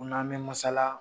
U n'an be masala